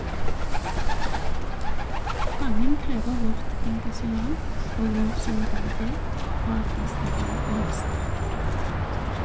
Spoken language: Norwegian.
Fangen krever vårt engasjement og vår solidaritet for at de skal bli løslatt.